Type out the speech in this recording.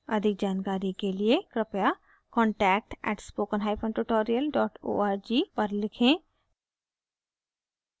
अधिक जानकारी के लिए कृपया contact at spoken hyphen tutorial dot org पर लिखें